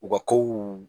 U ka kow